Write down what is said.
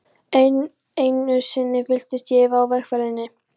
Enn einu sinni fylltist ég efa á vegferðinni.